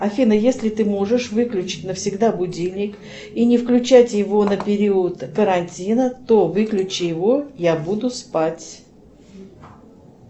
афина если ты можешь выключить навсегда будильник и не включать его на период карантина то выключи его я буду спать